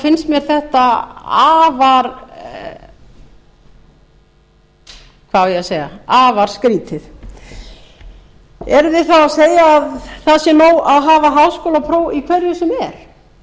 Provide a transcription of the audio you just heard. finnst mér þetta afar skrýtið eruð þið þá að segja að það sé nóg að hafa háskólapróf í hverju sem er